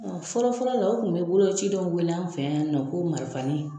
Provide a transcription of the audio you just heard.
Ɔ fɔlɔfɔlɔ la u kun be boloci dɔ wele an fɛn yan nɔ ko marifani